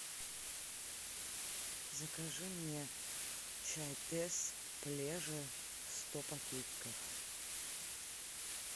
закажи мне чай тесс плеже сто пакетиков